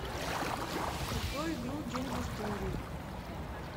открой игру день в истории